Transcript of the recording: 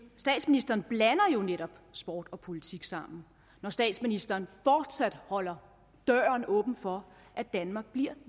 statsministeren blander jo netop sport og politik sammen når statsministeren fortsat holder døren åben for at danmark bliver